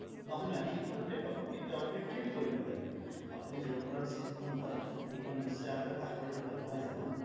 নহয় নহয় আপুনি সেইখনতে পাব কিন্তু আপুনি তৃপ কৰিব লাগিব আপুনি যৰ পৰা sim খন লয় সেইখন আপোনাৰ কাষৰৰে দোকান নহয় জানো